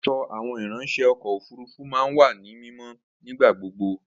Aṣọ àwọn ìráńṣẹ́ ọkọ̀ òfurufú máa ń wà ní mímọ́ nígbà gbogbo